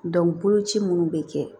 boloci minnu bɛ kɛ